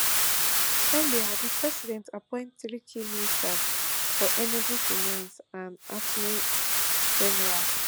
earlier di president appoint three key ministers for energy finance and attorney general